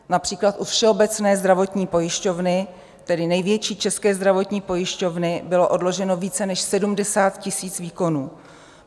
Například u Všeobecné zdravotní pojišťovny, tedy největší české zdravotní pojišťovny, bylo odloženo více než 70 000 výkonů.